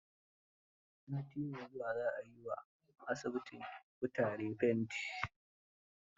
Sati mai zuwa za a yi wa asibitin kutaren fenti.